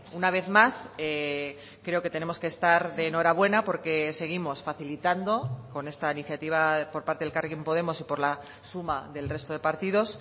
una vez más creo que tenemos que estar de enhorabuena porque seguimos facilitando con esta iniciativa por parte de elkarrekin podemos y por la suma del resto de partidos